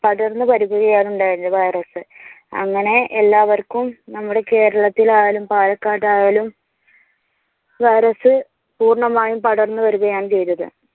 പടർന്ന് വരികുകയാണ് ഉണ്ടായത് വൈറസ്. അങ്ങനെ എല്ലാവർക്കും നമ്മുടെ കേരളത്തിൽ ആയാലും പാലക്കാട് ആയാലും വൈറസ് പൂർണമായും പടർന്നു വരികയാണ് ചെയ്തത്.